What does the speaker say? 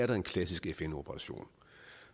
der en klassisk fn operation